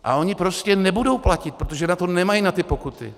A oni prostě nebudou platit, protože na to nemají, na ty pokuty.